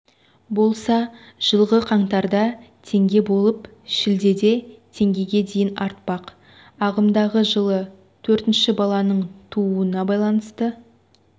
болса жылғы қаңтарда теңге болып шілдеде теңгеге дейін артпақ ағымдағы жылы төртінші баланың тууына байланысты